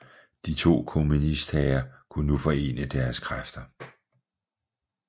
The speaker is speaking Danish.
De to kommunisthære kunne nu forene deres kræfter